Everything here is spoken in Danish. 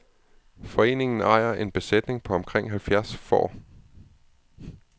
Foreningen ejer en besætning på omkring halvfjerds får.